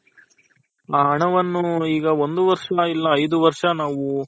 ಆ ಹಣವನ್ನು ಈಗ ಒಂದು ವರ್ಷ ಇಲ್ಲ ಐದು ವರ್ಷ ನಾವು